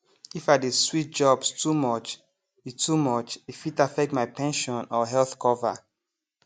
if i dey switch jobs too much e too much e fit affect my pension or health cover